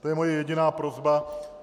To je moje jediná prosba.